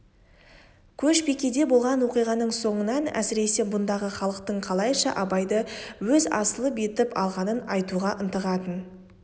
көшбикеде болған оқиғаның соңынан әсіресе бұндағы халықтың қалайша абайды өз асылы етіп алғанын айтуға ынтығатын